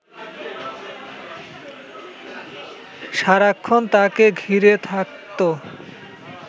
সারাক্ষণ তাঁকে ঘিরে থাকত